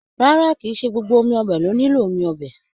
Rárá, kì í ṣe gbogbo ọbẹ lo nilo omi ọbẹ.